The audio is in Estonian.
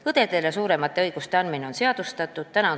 Õdedele suuremate õiguste andmine on seadustatud.